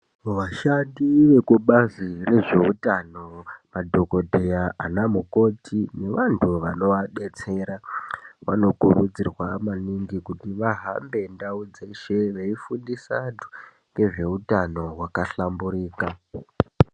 Vashati vekubazi rezveutano madhokodheya ana mukoti vantu vanovadetsera vanokurudzirwa maningi kuti vahambe ndau dzeshe veifundisa antu ngezveutano hwakahlamburika.